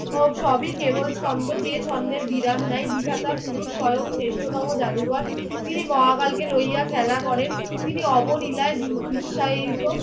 ও সবই কেবল ছন্দ যে ছন্দের বিরাম নাই। বিধাতা পুরুষ স্বয়ং শ্রেষ্ঠতম জাদুকর। তিনি মহাকালকে লইয়া খেলা করেন। তিনি অবলীলায় বি বিশ্বায়িত